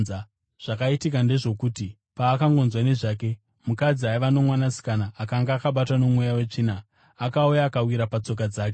Zvakaitika ndezvokuti, paakangonzwa nezvake, mukadzi aiva nomwanasikana akanga akabatwa nomweya wetsvina akauya akawira patsoka dzake.